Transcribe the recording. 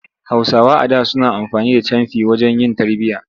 Hausawa a da suna amfani da camfi wajen yin tarbiyya.